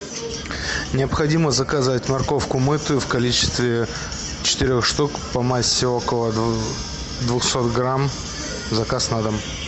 необходимо заказать морковку мытую в количестве четырех штук по массе около двухсот грамм заказ на дом